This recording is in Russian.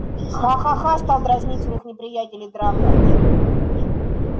ха-ха-ха стал дразнить своих неприятелей драко